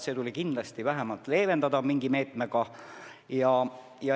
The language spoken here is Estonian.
Seda tuli kindlasti vähemalt leevendada mingi meetmega.